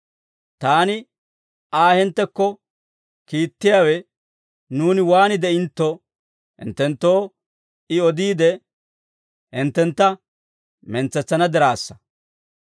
Taani Aa hinttekko kiittiyaawe, nuuni waan de'intto hinttenttoo I odiide, hinttentta mentsetsana diraassa.